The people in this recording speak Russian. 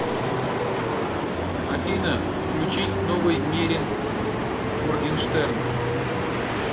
афина включить новый мерин моргенштерн